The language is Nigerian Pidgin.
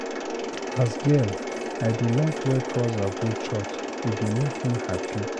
As girl, I dey like to wear trouser go church, e dey make me happy.